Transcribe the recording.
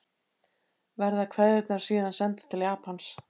Verða kveðjurnar síðan sendar til Japans